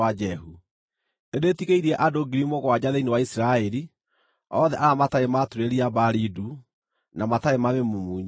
Na rĩrĩ, nĩndĩtigĩirie ngiri mũgwanja thĩinĩ wa Isiraeli, othe arĩa matarĩ maaturĩria Baali ndu, na matarĩ maamĩmumunya.”